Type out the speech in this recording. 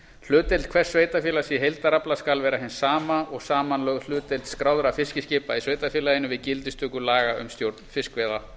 hlutdeild hvers sveitarfélags í heildarafla skal vera hin sama og samanlögð hlutdeild skráðra fiskiskipa í sveitarfélaginu við gildistöku laga um stjórn fiskveiða